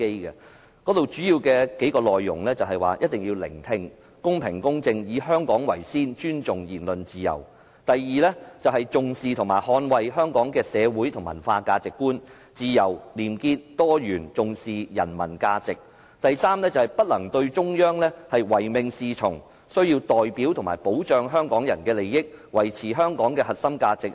當中數個主要內容是：一定要懂得聆聽、公平和公正、以香港為先和尊重言論自由；第二，重視和捍衞香港的社會和文化價值觀、自由、廉潔、多元和重視人民的價值；及第三，不能對中央唯命是從，需要代表和保障香港人的利益，維持香港的核心價值。